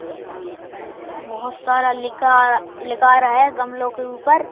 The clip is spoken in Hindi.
बहुत सारा लिकार लिकार है गमलों के ऊपर--